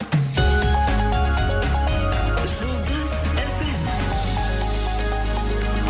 жұлдыз эф эм